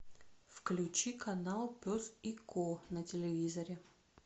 включи канал пес и ко на телевизоре